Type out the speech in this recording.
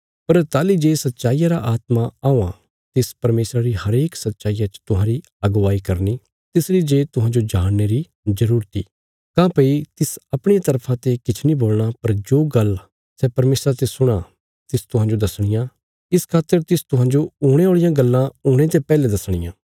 पर ताहली जे सच्चाईया रा आत्मा औआं तिस परमेशरा री हरेक सच्चाईया च तुहांरी अगुवाई करनी तिसरी जे तुहांजो जाणने री जरूरत इ काँह्भई तिस अपणिया तरफा ते किछ नीं बोलणा पर जो गल्लां सै परमेशरा ते सुणां तिस तुहांजो दसणियां इस खातर तिस तुहांजो हुणे औल़ियां गल्लां हुणे ते पैहले दसणियां